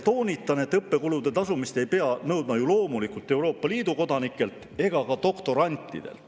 Toonitan, et õppekulude tasumist ei pea nõudma loomulikult ka Euroopa Liidu kodanikelt ega doktorantidelt.